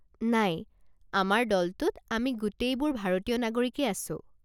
নাই, আমাৰ দলটোত আমি গোটেইবোৰ ভাৰতীয় নাগৰিকেই আছো।